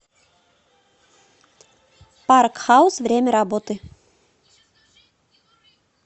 парк хаус время работы